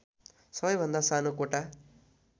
सबैभन्दा सानो कोटा